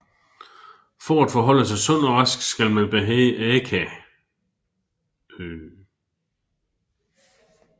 For at holde sig sund og rask skal man behage Akaa